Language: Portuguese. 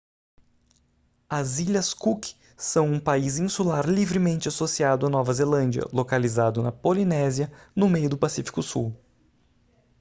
as ilhas cook são um país insular livremente associado à nova zelândia localizado na polinésia no meio do pacífico sul